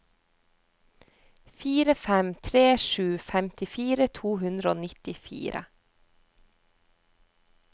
fire fem tre sju femtifire to hundre og nittifire